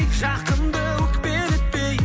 жақынды өкпелетпей